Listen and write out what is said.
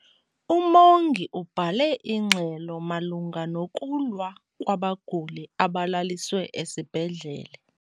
Umongi ubhale ingxelo malunga nokulwa kwabaguli abalaliswe esibhedlele.